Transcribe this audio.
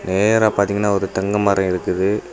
நேரா பாத்திங்கனா ஒரு தெங்கமரம் இருக்குது.